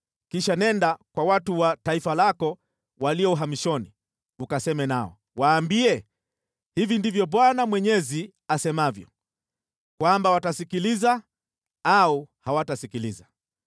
Kisha nenda kwa watu wa taifa lako walio uhamishoni, ukaseme nao. Waambie, ‘Hivi ndivyo Bwana Mwenyezi asemavyo,’ kwamba watasikiliza au hawatasikiliza.”